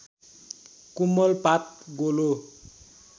कोमल पात गोलो